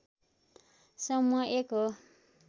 समुह एक हो